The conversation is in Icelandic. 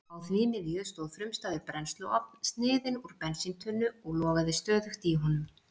Á því miðju stóð frumstæður brennsluofn, sniðinn úr bensíntunnu og logaði stöðugt í honum.